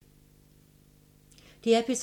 DR P3